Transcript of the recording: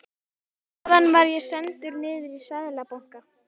Þaðan var ég sendur niður í Seðlabanka.